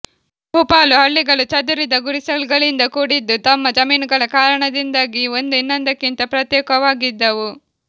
ಬಹುಪಾಲು ಹಳ್ಳಿಗಳು ಚದುರಿದ ಗುಡಿಸಲುಗಳಿಂದ ಕೂಡಿದ್ದು ತಮ್ಮ ಜಮೀನುಗಳ ಕಾರಣದಿಂದಾಗಿ ಒಂದು ಇನ್ನೊಂದಕ್ಕಿಂತ ಪ್ರತ್ಯೇಕವಾಗಿದ್ದವು